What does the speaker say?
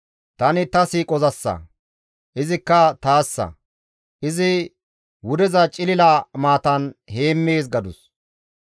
Tani ta siiqozassa; izikka taassa; izi wudeza cilila maatan heemmees» gadus.